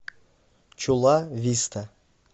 чула виста